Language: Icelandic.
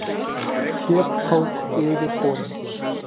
Hér tók yfirforingi